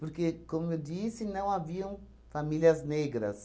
Porque, como eu disse, não haviam famílias negras.